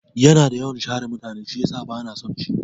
Yana da yawan share mutane shiyasa bana son shi.